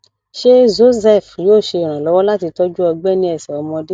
ṣé zocef yóò ṣe ìrànlọwọ láti tọjú ọgbẹ ní ẹsẹ ọmọdé